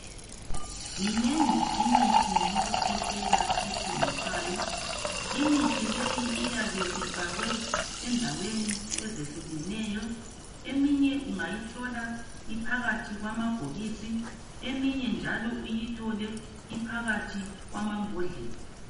Minengi imithi yokukhwehlela ethengiswayo. Imithi leyi iyabe ifakwe endaweni ezehlukeneyo, eminye ungayithola iphakathi kwamabhokisi, eminye njalo uyithole iphakathi kwamambodlela.